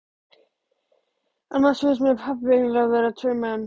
Annars finnst mér pabbi eiginlega vera tveir menn.